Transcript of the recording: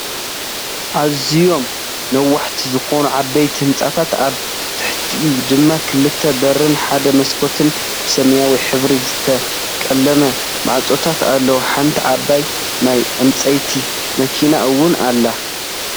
አዝዮም ነዋሕቲ ዝኮኑ ዓበይቲ ህንፃታት አብ ትሕቲኡ ድማ ክልተ በርን ሓደ መስኮትን ብሰማያዊ ሕብሪ ዝተቀለመ ማዕፆታት ኣለው። ሓንቲ ዓባይ ናይ ፅዕነት መኪነ እውን ኣላ ።